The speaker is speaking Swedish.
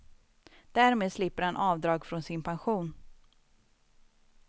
Därmed slipper han avdrag från sin pension.